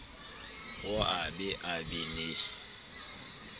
o ye a be le